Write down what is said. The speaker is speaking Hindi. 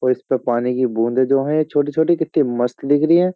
और इसपे पानी की बूंद जो है छोटी-छोटी कितनी मस्त दिख रही है।